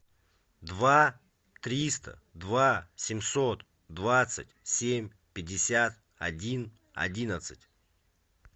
два триста два семьсот двадцать семь пятьдесят один одиннадцать